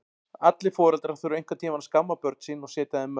Allir foreldrar þurfa einhvern tíma að skamma börn sín og setja þeim mörk.